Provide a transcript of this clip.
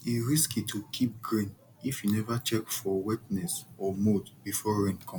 e risky to keep grain if you never check for wetness or mould before rain come